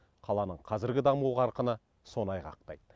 қаланың қазіргі даму қарқыны соны айғақтайды